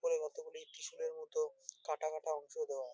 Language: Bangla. উপরে কতগুলি ত্রিশূলের মতো কাটা কাটা অংশ দেওয়া।